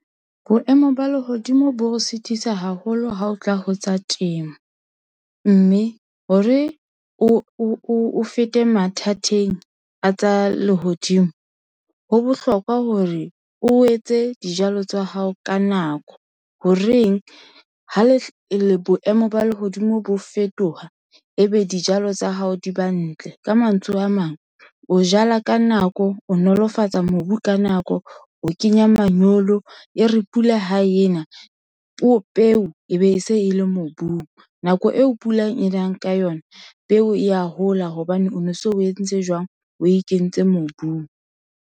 Boemo ba lehodimo bo sitisa haholo ha o tla ho tsa temo. Mme hore o fete mathateng a tsa lehodimo, ho bohlokwa hore o etse dijalo tsa hao ka nako. Ho reng? Ha boemo ba lehodimo bo fetoha, ebe dijalo tsa hao di ba ntle. Ka mantswe a mang, o jala ka nako, o nolofatsa mobu ka nako, o kenya manyolo. E re pula ha e na peo e be e se e le mobung. Nako eo pula e nang ka yona, peo ya hola hobane o no so o entse jwang? Oe kentse mobung.